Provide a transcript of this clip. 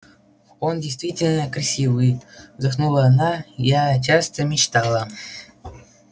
он действительно красивый вздохнула она я часто мечтала